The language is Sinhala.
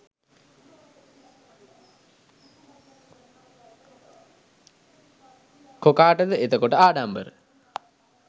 කොකාටද එතකොට ආඩම්බර?